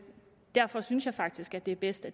et